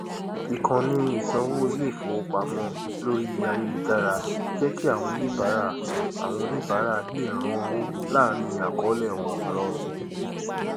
ìkànni ìsánwó iléifowopamọ lórí ayélujára jẹ kí àwọn oníbàárà àwọn oníbàárà lè rán owó láàrín àkọọlẹ wọn rọrùn